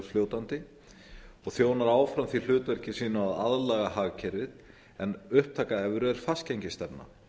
seigfljótandi og þjónar áfram því hlutverki sínu að aðlaga hagkerfið en upptaka evru er fastgengisstefna